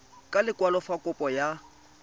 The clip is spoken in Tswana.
ka lekwalo fa kopo ya